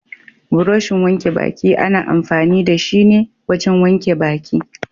Burushin wanke baki ana amfani da shi ne wajen wanke baki.